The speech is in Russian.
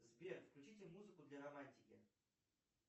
сбер включите музыку для романтики